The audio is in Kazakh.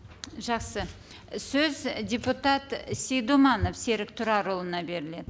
жақсы сөз і депутат сейдуманов серік тұрарұлына беріледі